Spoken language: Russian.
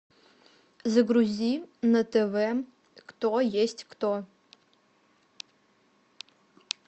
загрузи на тв кто есть кто